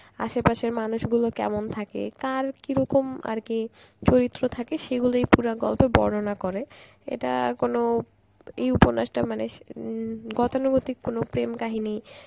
আশে পাশের মানুষগুলো কেমন থাকে, কার কীরকম আর কি চরিত্র থাকে সেগুলোই পুরা গল্পে বর্ণনা করে, এটা কোন এই উপন্যাসটার মানে সে~ উম গতানুগতিক কোন প্রেম কাহিনী